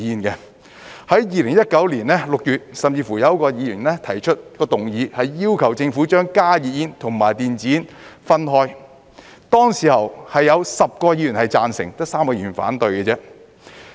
在2019年6月，甚至有一位議員提出一項議案，要求政府把加熱煙和電子煙分開，當時有10位議員贊成，只有3位議員反對。